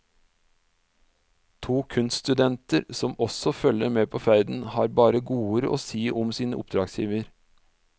To kunststudenter, som også følger med på ferden, har bare godord å si om sin oppdragsgiver.